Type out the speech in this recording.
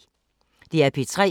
DR P3